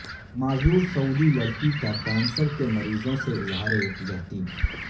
معذور سعودی لڑکی کا کینسر کے مریضوں سے اظہار یکجہتی